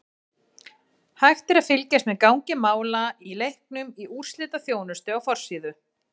Hægt er að fylgjast með gangi mála í leiknum í úrslitaþjónustu á forsíðu.